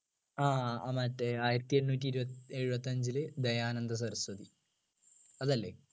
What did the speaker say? ആഹ് മറ്റേ ആയിരത്തി എണ്ണൂറ്റി ഇരുപത്തി എഴുപത്തഞ്ചിൽ ദയാനന്ദ സരസ്വതി അതല്ലേ